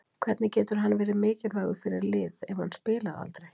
Hvernig getur hann verið mikilvægur fyrir lið ef hann spilar aldrei?